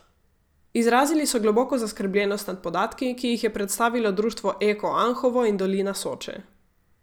Izrazili so globoko zaskrbljenost nad podatki, ki jih je predstavilo Društvo Eko Anhovo in dolina Soče.